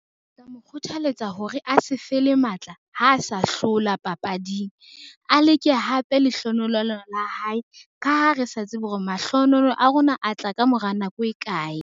Mo kgothaletsa hore a se fele matla, ha sa hlola papading. A leke hape lehlohonololo la hae ka ha re sa tsebe hore mahlohonolo a rona a tla ka mora nako e kae.